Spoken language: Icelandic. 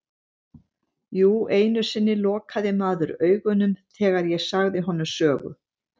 Jú einu sinni lokaði maður augunum þegar ég sagði honum sögu.